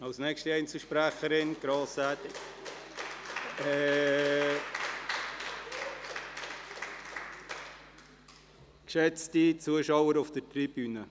Als nächste Einzelsprecherin hat Grossrätin … Geschätzte Zuschauer auf der Tribüne: